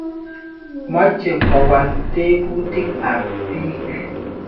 Moche kowol teputik ap piik.